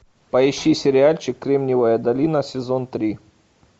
поищи сериальчик кремниевая долина сезон три